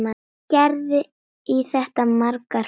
Gerði í þetta margar ferðir.